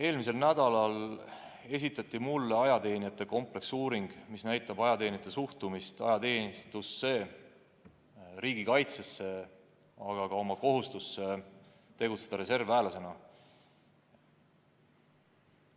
Eelmisel nädalal esitati mulle ajateenijate kompleksuuring, mis näitab ajateenijate suhtumist ajateenistusse, riigikaitsesse, aga ka oma kohustusse tegutseda reservväelasena.